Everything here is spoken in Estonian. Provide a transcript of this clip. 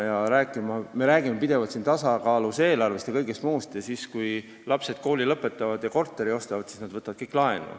Me räägime siin pidevalt tasakaalus eelarvest ja kõigest muust, aga kui lapsed kooli lõpetavad ja korteri ostavad, siis nad võtavad kõik laenu.